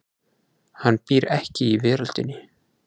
Hann býr ekki í veröldinni.